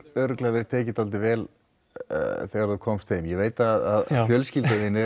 örugglega verið tekið dálítið vel þegar þú komst heim ég veit að fjölskylda þín er